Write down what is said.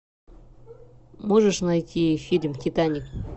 можешь найти фильм титаник